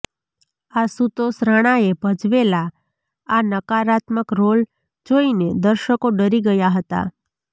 આશુતોષ રાણાએ ભજવેલા આ નકારાત્મક રોલ જોઈને દર્શકો ડરી ગયા હતા